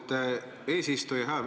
Aitäh, austatud eesistuja!